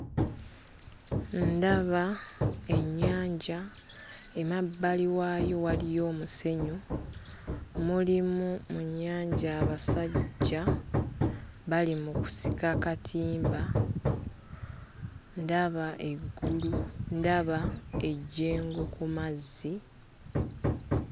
Ndaba ennyanja emabbali waayo waliyo omusenyu. Mulimu mu nnyanja abasajja bali mu kusika katimba. Ndaba eggulu ndaba ejjengo ku mazzi.